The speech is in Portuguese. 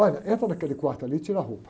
Olha, entra naquele quarto ali e tira a roupa.